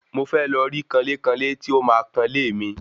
Mo fẹ́ lọ rí kanlé kanlé tí ó máa kanlé mi